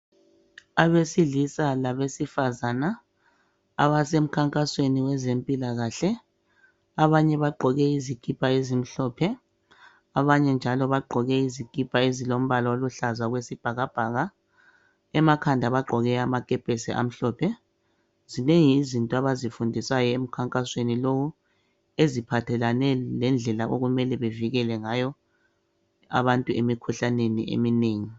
Abesilisa labesifazana abasemkhankasweni wezempilakahle abanye bagqoke izikipa ezimhlophe abanye njalo bagqoke izikipa ezilombala oluhlaza okwesibhakabhaka emakhanda bagqoke amakepesi amhlophe. Zinengi izinto abazifundiswayo emkhankasweni lowu eziphathelane lendlela okumele bevikele ngayo abantu emikhuhlaneni eminengi.